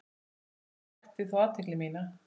Eitt vakti þó athygli mína.